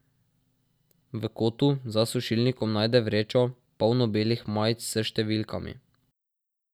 V kotu za sušilnikom najde vrečo, polno belih majic s številkami.